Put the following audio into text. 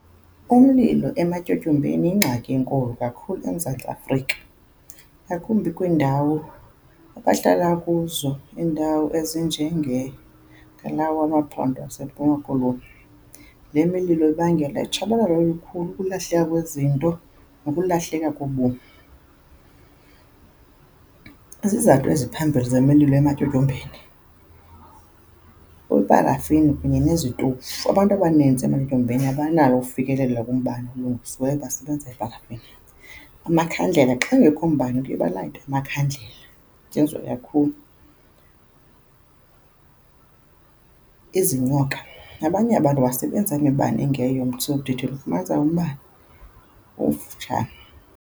Umlilo ematyotyombeni yingxaki enkulu kakhulu eMzantsi Afrika, ngakumbi kwiindawo abahlala kuzo. Iindawo kwalawo maphondo aseMpuma Koloni. Le mililo ibangela utshabalalo olukhulu, ukulahleka kwezinto nokulahleka kobomi. Izizathu eziphambili zemililo ematyotyombeni kuyiparafini kunye nezistovu. Abantu abanintsi ematyotyombeni abanakho ukufikelela kumbane olungisiweyo, basebenzisa iparafini. Amakhandlela, xa ungekho umbane kuye balayite amakhandlela . Izinyoka, abanye abantu basebenzisa imibane engeyiyo esemthethweni. Ufumanise umbane umfutshane.